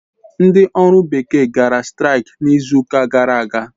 Ndị ọrụ bekee gara straik izuụka gara aga.